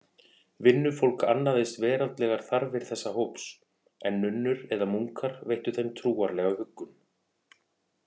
Vinnufólk annaðist veraldlegar þarfir þessa hóps, en nunnur eða munkar veittu þeim trúarlega huggun.